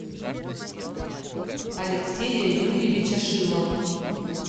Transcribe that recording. алексея юрьевича шилова